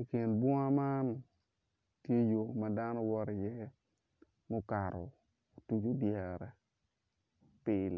i kin bunga man tye yo ma dano woto iye mukato otuco dyere pil.